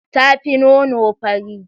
Ta fi nono, fari.